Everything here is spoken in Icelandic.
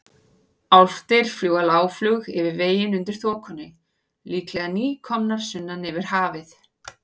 Álftir fljúga lágflug yfir veginn undir þokunni, líklega nýkomnar sunnan yfir hafið.